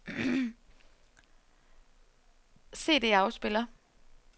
CD-afspiller